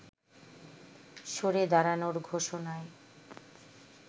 সরে দাঁড়ানোর ঘোষণায়